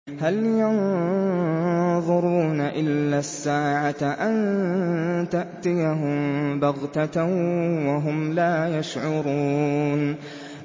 هَلْ يَنظُرُونَ إِلَّا السَّاعَةَ أَن تَأْتِيَهُم بَغْتَةً وَهُمْ لَا يَشْعُرُونَ